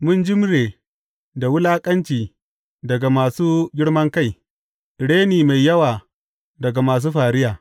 Mun jimre da wulaƙanci daga masu girman kai, reni mai yawa daga masu fariya.